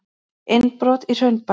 Innbrot í Hraunbæ